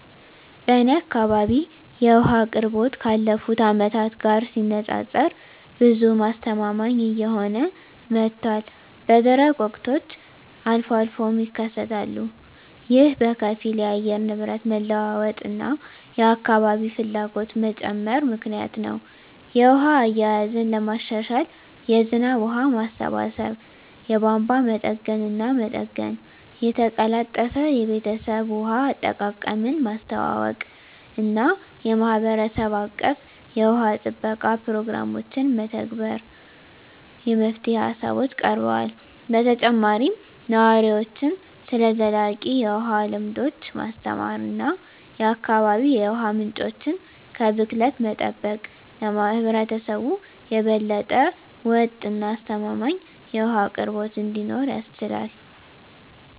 በእኔ አካባቢ የውሃ አቅርቦት ካለፉት አመታት ጋር ሲነፃፀር ብዙም አስተማማኝ እየሆነ መጥቷል፣ በደረቅ ወቅቶች አልፎ አልፎም ይከሰታሉ። ይህ በከፊል የአየር ንብረት መለዋወጥ እና የአካባቢ ፍላጎት መጨመር ምክንያት ነው. የውሃ አያያዝን ለማሻሻል የዝናብ ውሃ ማሰባሰብ፣ የቧንቧ መጠገንና መጠገን፣ የተቀላጠፈ የቤተሰብ ውሃ አጠቃቀምን ማስተዋወቅ እና የማህበረሰብ አቀፍ የውሃ ጥበቃ ፕሮግራሞችን መተግበር የመፍትሄ ሃሳቦች ቀርበዋል። በተጨማሪም ነዋሪዎችን ስለ ዘላቂ የውሃ ልምዶች ማስተማር እና የአካባቢ የውሃ ምንጮችን ከብክለት መጠበቅ ለህብረተሰቡ የበለጠ ወጥ እና አስተማማኝ የውሃ አቅርቦት እንዲኖር ያስችላል።